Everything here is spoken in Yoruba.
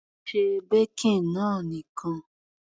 Se baking náà nìkan.